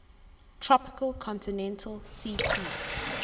tropical continental ct